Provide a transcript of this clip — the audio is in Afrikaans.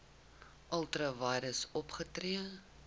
ultra vires opgetree